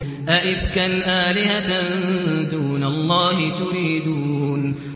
أَئِفْكًا آلِهَةً دُونَ اللَّهِ تُرِيدُونَ